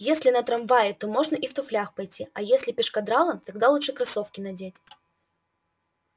если на трамвае то можно и в туфлях пойти а если пешкодралом тогда лучше кроссовки надеть